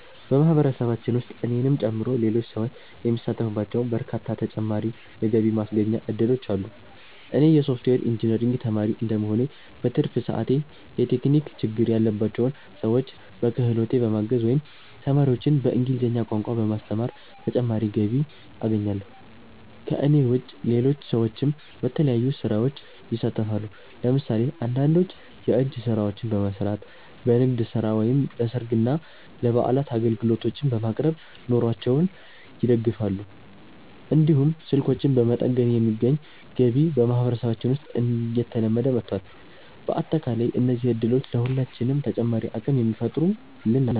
በማህበረሰባችን ውስጥ እኔንም ጨምሮ ሌሎች ሰዎች የሚሳተፉባቸው በርካታ ተጨማሪ የገቢ ማስገኛ እድሎች አሉ። እኔ የሶፍትዌር ኢንጂነሪንግ ተማሪ እንደመሆኔ፣ በትርፍ ሰዓቴ የቴክኒክ ችግር ያለባቸውን ሰዎች በክህሎቴ በማገዝ ወይም ተማሪዎችን በእንግሊዝኛ ቋንቋ በማስተማር ተጨማሪ ገቢ አገኛለሁ። ከእኔ ውጭ ሌሎች ሰዎችም በተለያዩ ስራዎች ይሳተፋሉ። ለምሳሌ አንዳንዶች የእጅ ስራዎችን በመስራት፣ በንግድ ስራ ወይም ለሰርግና ለበዓላት አገልግሎቶችን በማቅረብ ኑሯቸውን ይደግፋሉ። እንዲሁም ስልኮችን በመጠገን የሚገኝ ገቢ በማህበረሰባችን ውስጥ እየተለመደ መጥቷል። በአጠቃላይ እነዚህ እድሎች ለሁላችንም ተጨማሪ አቅም የሚፈጥሩልን ናቸው።